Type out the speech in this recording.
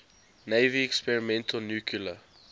navy experimental nuclear